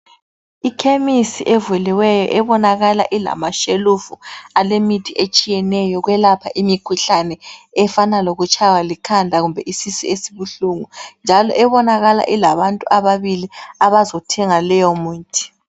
Ikhemisi evuliweyo ebonakala ilamashelufu alemithi etshiyeneyo yokwelapha imikhuhlane efana lokutshaywa likhanda kumbe isisu esibuhlungi, njalo ebonakala ilabantu ababili abazothenga leyo muthi.